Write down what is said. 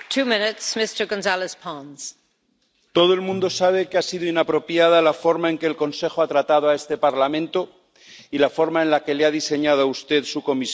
Señora presidenta, todo el mundo sabe que ha sido inapropiada la forma en que el Consejo ha tratado a este Parlamento y la forma en la que le ha diseñado a usted su Comisión.